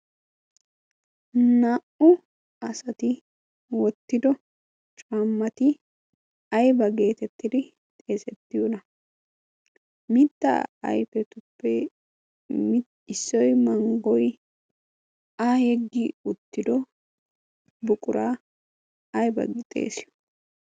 naa''u asati wottido caammati ayba geetettidi xeesettiyoona mittaa ayfetuppe issoy manggoy a heggi uttido buquraa ayba gi xeessiyo